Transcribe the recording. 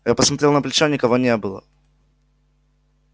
я посмотрел на плечо никого не было